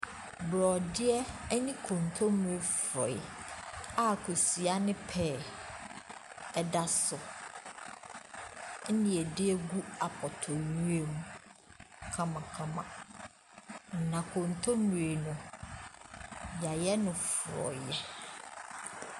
Borɔdeɛ ne nkonkommire forɔeɛ a kosua ne pɛɛ da so. Ɛna wɔde agu apɔtɔyowa mu kamakama. Na nkontommire no, wɔayɛ no forɔeɛ.